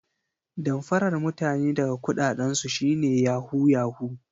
Damfarar mutane daga kudaden su shi ne 'yahoo yahoo'